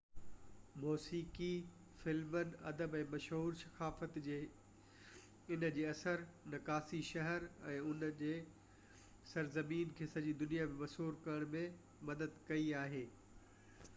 موسيقي فلمن ادب ۽ مشهور ثقافت جي ان جي اڪثر نقاشي شهر ۽ ان جي سرزمين کي سڄي دنيا ۾ مشهور ڪرڻ ۾ مدد ڪئي آهي